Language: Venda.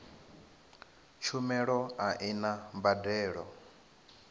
tshumelo a i na mbadelo